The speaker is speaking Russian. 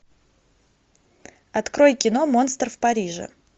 открой кино монстр в париже